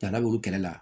Da laburu kɛlɛ la